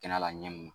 Kɛnɛ la ɲɛn mun ma